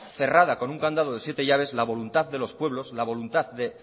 cerrada con un candado de siete llaves la voluntad de los pueblos la voluntad de